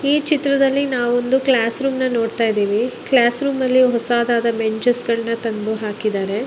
ಈ ಚಿತ್ರದಲ್ಲಿ ನಾವ್ ಒಂದು ಕ್ಲಾಸ್ ರೂಮ್ ನಾ ನೋಡತ್ತಾ ಇದ್ದಿವಿ ಕ್ಲಾಸ್ ರೂಮ್ ದಲ್ಲಿ ಹೊಸಾದಾದ ಬೆಂಚೆಸ್ ನಾ ತಂದು ಹಾಕಿದ್ದಾರೆ.